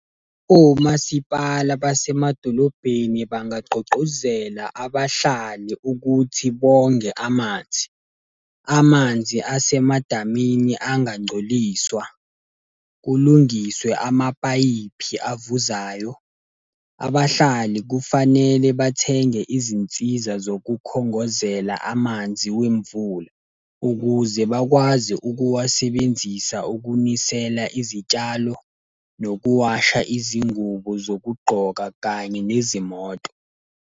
Omasipala basemadolobheni bangagqugquzela abahlali ukuthi bonge amanzi. Amanzi asemadamini angangcoliswa, kulungiswe amapayipi avuzayo. Abahlali kufanele bathenge izinsiza zokukhongozela amanzi wemvula, ukuze bakwazi ukuwasebenzisa ukunisela izitshalo, nokuwasha izingubo zokugqoka kanye nezimoto.